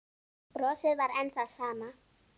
Brosið var enn það sama.